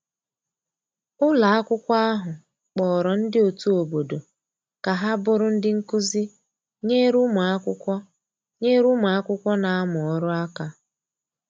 ụlọ akwụkwo ahụ kporo ndi otu obodo ka ha bụrụ ndi nkụzi nyere ụmụ akwụkwo nyere ụmụ akwụkwo n'amu ọrụ aka